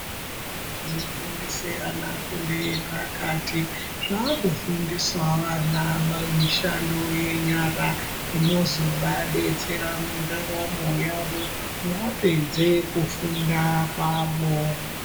Zvikora zvinofundise ana fundo yepakati zvakufundisawo vana ma mishando nyara inozovadetsera ndaramo yavo vapedze kufunda kwavo.